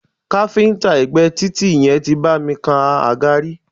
Káfíńńtà ẹ̀gbé títì yẹn tí bá mi kan àga rí.